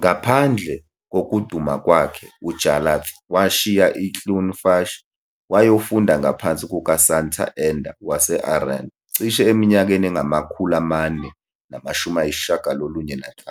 "Ngaphandle kokuduma kwakhe, uJarlath washiya iCloonfush wayofunda ngaphansi kukaSanta Enda wase-Aran cishe eminyakeni engama-495.